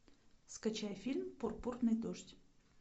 скачай фильм пурпурный дождь